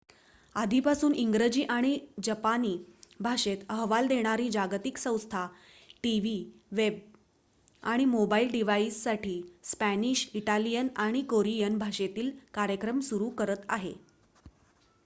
आधीपासून इंग्रजी आणि जपानी भाषेत अहवाल देणारी जागतिक संस्था टीव्ही वेब आणि मोबाइल डिव्हाइससाठी स्पॅनिश इटालियन आणि कोरियन भाषेतील कार्यक्रम सुरू करत आहे